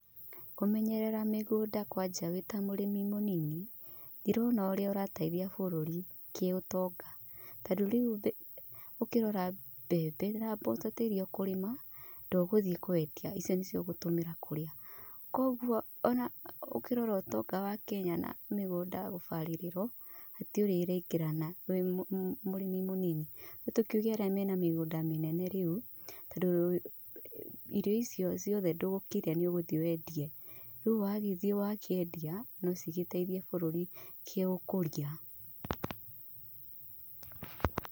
Kũmenyerera migũnda kwanja wĩ ta mũrĩmi mũnini ndirona ũrĩa ũrateithia bũrüri kĩ ũtonga. Tondũ rĩu ũkĩrora mbembe na mboco iria ũkũrĩma ndũgũthiĩ kũendia icio nĩcio ũgũthiĩ kũrĩa. Kũoguo ũkĩrora ũtonga wa Kenya na mĩgũnda gũbarĩrĩrwo hatirĩ ũrĩa iraingĩrana wĩ mũrĩmi mũnini. Nĩ tũkiuge arĩa mena mĩgũnda mĩnene rĩu tondũ irio icio ciothe ndũgũkĩrĩa nĩ ũgũthiĩ wendie. Rĩu wagĩthiĩ wakĩendia nocigĩteithie bururi kĩ ũkũria.